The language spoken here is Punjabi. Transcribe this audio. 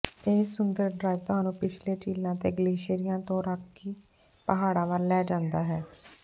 ਇਹ ਸੁੰਦਰ ਡ੍ਰਾਇਵ ਤੁਹਾਨੂੰ ਪਿਛਲੇ ਝੀਲਾਂ ਅਤੇ ਗਲੇਸ਼ੀਅਰਾਂ ਤੋਂ ਰਾਕੀ ਪਹਾੜਾਂ ਵੱਲ ਲੈ ਜਾਂਦਾ ਹੈ